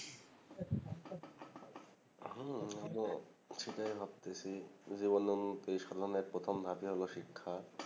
হম যে সেটাই ভাবতেসি ঐযে বললাম এই সময়ের প্রথম ধাপই হল শিক্ষা